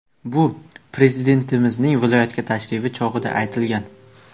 Bu Prezidentimizning viloyatga tashrifi chog‘ida aytilgan.